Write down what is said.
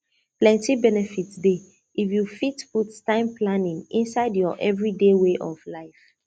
plenty benefit dey if you fit put time planning inside your everyday way of life